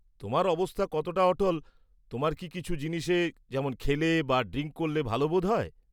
-তোমার অবস্থা কতটা অটল, তোমার কি কিছু জিনিসে, যেমন খেলে বা ড্রিংক করলে ভালো বোধ হয়?